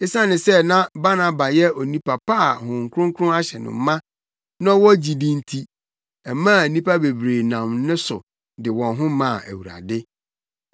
Esiane sɛ na Barnaba yɛ onipa pa a Honhom Kronkron ahyɛ no ma na ɔwɔ gyidi nti, ɛmaa nnipa bebree nam ne so de wɔn ho maa Awurade.